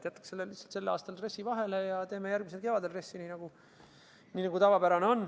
Jätaks lihtsalt sellel aastal RES-i vahele ja teeme järgmisel kevadel, nagu on tavapärane.